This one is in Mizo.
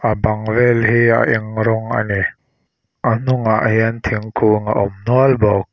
a bang vel hi a eng rawng a ni a hnungah hian thingkung a awm nual bawk.